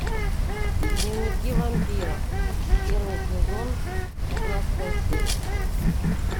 дневники вампиров первый сезон шестнадцатая серия